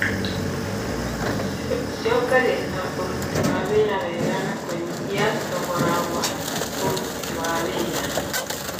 Ciongagĩrĩra ũruti wa wĩra wega na kũnyihia thogora wa ũruti wa wĩra.